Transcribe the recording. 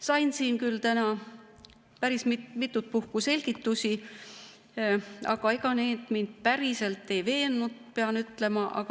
Sain siin täna küll päris mitut puhku selgitusi, aga ega need mind päriselt ei veennud, pean ütlema.